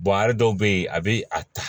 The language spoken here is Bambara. a dɔw bɛ yen a bɛ a ta